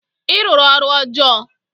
Ị rụrụ ọrụ ọjọọ!